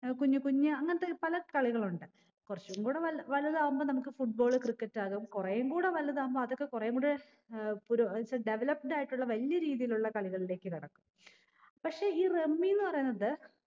ഏർ കുഞ്ഞു കുഞ്ഞു അങ്ങത്തെ പല കളികളുണ്ട് കുറച്ചും കൂടെ വലു വലുതാവുമ്പോ നമുക്ക് football cricket ആകും കൊറേയും കൂടെ വലുതാവുമ്പോ അതൊക്കെ കൊറേയും കൂടെ ഏർ പുരോ ഏർ developed ആയിട്ടുള്ള വല്ല രീതിയിലുള്ള കളികളിലേക്ക് കടക്കും പക്ഷെ ഈ rummy ന്ന് പറയുന്നത്